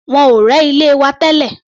Wọ́n ò rẹ́ ilé wa tẹ́lẹ̀.